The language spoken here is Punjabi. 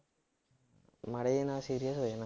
ਮਾੜੇ ਜਿਹੇ ਨਾਲ serious ਹੋ ਜਾਣਾ